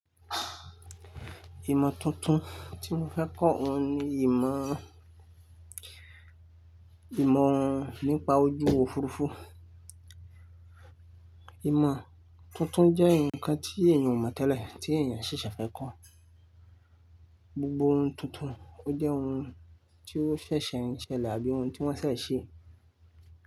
Ìmọ̀ tuntun tí mo fẹ́ kọ́ òun ni ìmọ̀, ìmọ̀ nípa ojú òfurufú. Ìmọ̀ tuntun jẹ́ ǹkan tí èèyàn ò mọ̀ tẹ́lẹ̀, tí èèyàn ṣẹ̀ṣẹ̀ fẹ́ kọ́. Gbogbo ohun tuntun, ó jẹ́ ohun tí ó ṣẹ̀ṣẹ̀ ń ṣẹlẹ̀ àbí ohun tí wọ́n ṣẹ̀ẹ̀ ṣe.